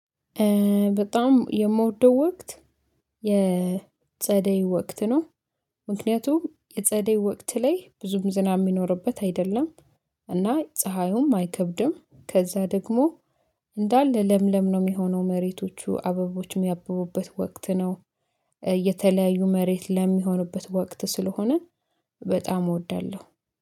በጣም የምወደው ወቅት የጸደይ ወቅት ነው። ምክንያቱም የጸደይ ወቅት ላይ ብዙም ዝናብ የሚኖርበት አይደለም። እና ፀሀዩም አይከብድም ከዛ ደግሞ እንዳለ ለምለም ነው የሚሆነው መሬቶቹ አበቦችም ያሚያብቡበት ወቅት ነው። የተለያዩ መሬት ለሚሆንበት ወቅት ስለሆነ በጣም እወዳለሁ